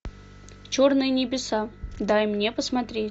черные небеса дай мне посмотреть